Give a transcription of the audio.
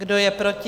Kdo je proti?